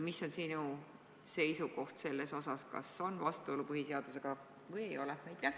Mis on sinu seisukoht selles osas: kas see on vastuolus põhiseadusega või ei ole?